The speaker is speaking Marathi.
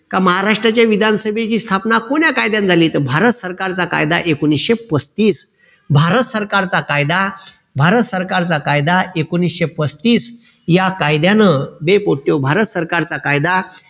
का महाराष्ट्राच्या विधानसभेची स्थापना कोण्या कायद्याने झाली तर भारत सरकारचा कायदा एकोणीशे पस्तीस. भारत सरकारचा कायदा भारत सरकारचा कायदा एकोणीशे पस्तीस या कायद्यानं बे पोट्याओ भारत सरकारचा कायदा